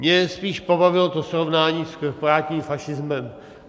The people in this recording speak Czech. Mě spíš pobavilo to srovnání s korporátním fašismem.